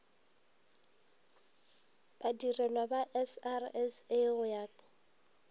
badirelwa ba srsa go ya